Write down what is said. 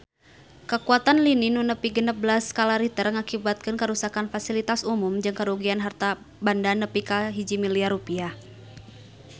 Kakuatan lini nu nepi genep belas skala Richter ngakibatkeun karuksakan pasilitas umum jeung karugian harta banda nepi ka 1 miliar rupiah